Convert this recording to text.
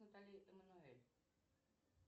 натали эммануэль